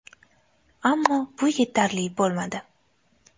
Ammo bu yetarli bo‘lmadi.